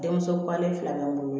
Denmuso pale fila bɛɛ n'o